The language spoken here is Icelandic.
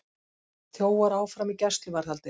Þjófar áfram í gæsluvarðhaldi